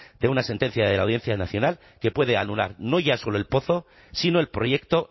de una sentencia de la audiencia nacional que puede anular no ya solo el pozo sino el proyecto